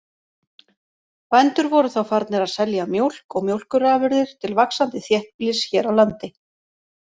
Bændur voru þá farnir að selja mjólk og mjólkurafurðir til vaxandi þéttbýlis hér á landi.